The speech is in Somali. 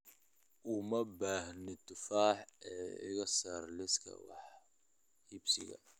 Uma baahni tufaax ee iga saar liiska wax iibsiga